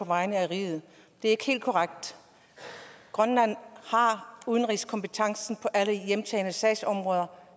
vegne af riget det er ikke helt korrekt grønland har udenrigskompetencen på alle hjemtagne sagsområder